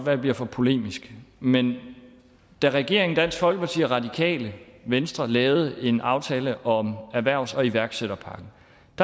jeg bliver for polemisk men da regeringen dansk folkeparti og radikale venstre lavede en aftale om erhvervs og iværksætterpakken